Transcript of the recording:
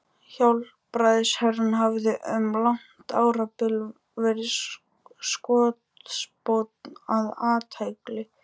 Hjálpræðisherinn hafði um langt árabil verið skotspónn og athlægi